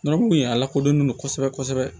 Yɔrɔ mun ye a lakodɔnnen don kosɛbɛ kosɛbɛ